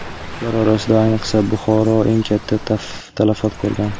Ular orasida ayniqsa Buxoro eng katta talafot ko‘rgan.